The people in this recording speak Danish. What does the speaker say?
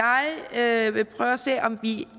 jeg vil prøve at se om vi